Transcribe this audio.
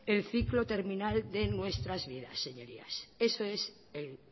el ciclo terminal de nuestras vidas señorías eso es el